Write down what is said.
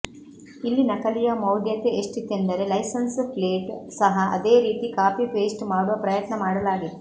ಇಲ್ಲಿ ನಕಲಿಯ ಮೌಢ್ಯತೆ ಎಷ್ಟಿತೆಂದರೆ ಲೈಸನ್ಸ್ ಪ್ಲೇಟ್ ಸಹ ಅದೇ ರೀತಿ ಕಾಪಿ ಪೇಸ್ಟ್ ಮಾಡುವ ಪ್ರಯತ್ನ ಮಾಡಲಾಗಿತ್ತು